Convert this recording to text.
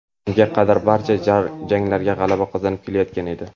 Unga qadar barcha janglarda g‘alaba qozonib kelayotgan edi.